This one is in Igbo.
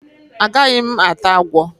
A gaghi m ata agwo.